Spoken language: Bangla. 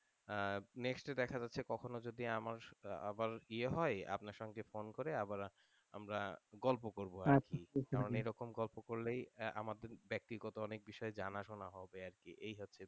আহ next এ দেখা যাচ্ছে কখনো যদি আমার আবার ইয়ে হয় আপনার সাথে phone করে আবার আমরা গল্প করবো আরকি কারন এরকম গল্প করলেই আমাদের ব্যাক্তিগত অনেক বিষয়ে জানা হবে আরকি এই হচ্ছে,